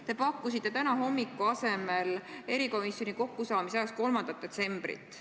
Te pakkusite täna hommiku asemel erikomisjoni kokkusaamise ajaks 3. detsembrit.